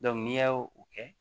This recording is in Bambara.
n'i y'o o kɛ